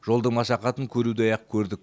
жолдың машақатын көрудей ақ көрдік